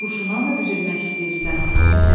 Yarın kurşuna mı düzülmək istəyirsən?